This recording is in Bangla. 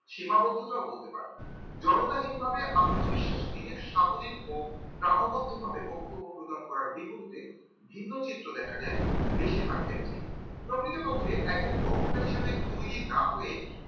সীমাবদ্ধতা বলতে পারেন জড়তাহীন ভাবে আত্মবিশ্বাস নিয়ে সাবলীল ও গ্রহবন্দী ভাবে বক্তব্য প্রদান করার বিপরীতে ভিন্ন চিত্র দেখা যায় বেশিরভাগ ক্ষেত্রেই প্রকৃতপক্ষেই একজন বক্তা হিসেবে তৈরি না হয়ে